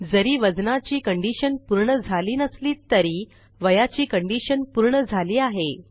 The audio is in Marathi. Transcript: जरी वजनाची कंडिशन पूर्ण झाली नसली तरी वयाची कंडिशन पूर्ण झाली आहे